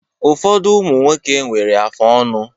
Ụfọdụ ụmụ nwoke nwere afụ ọnụ